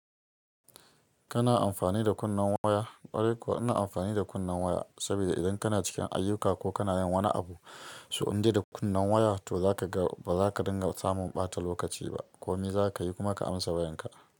Kana amfani da kunnen waya? Ƙwarai kuwa ina amfani da kunnen waya saboda idan kana cikin ayuka ko kana yin wani abu, so indai da kunnen waya to zaka ga ba za ka dinga samun ɓata lokaci ba. Komi za ka yi kuma ka amsa wayan ka.